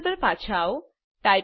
terminal પર પાછા આવો